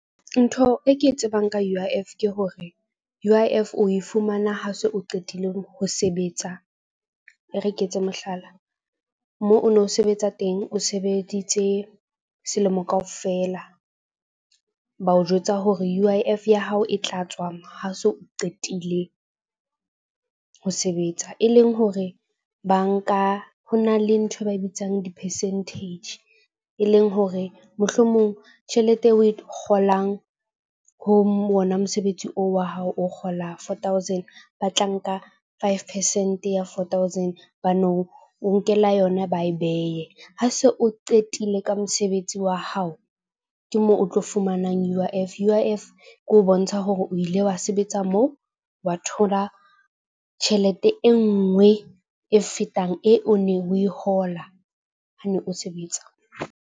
Ntho e ke e tsebang ka U_I_F ke hore U_I_F o e fumana ha se o qetile ho sebetsa, e re ke etse mohlala. Moo o no sebetsa teng o sebeditse selemo kaofela. Ba o jwetsa hore U_I_F ya hao e tla tswa ha so o qetile ho sebetsa, e leng hore bank-a, ho na le nthwe ba e bitsang di-percentage e leng hore mohlomong tjhelete eo o e kgolang ho mona. Mosebetsi oo wa hao o kgola four thousand ba tla nka five percent ya four thousand ba no o nkela yona ba e beye. Ha se o qetile ka mosebetsi wa hao ke moo o tlo fumanang U_I_F. U_I_F ke ho bontsha hore o ile wa sebetsa moo wa thola tjhelete e nngwe e fetang e o neng o e hola ha ne o sebetsa.